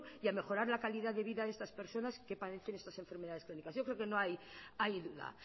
y a mejorar la calidad de vida estas personas que padecen estas enfermedades crónicas yo creo que no hay duda